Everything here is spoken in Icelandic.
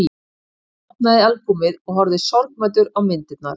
Hann opnaði albúmið og horfði sorgmæddur á myndirnar.